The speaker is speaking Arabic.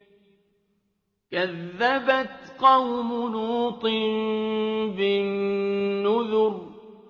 كَذَّبَتْ قَوْمُ لُوطٍ بِالنُّذُرِ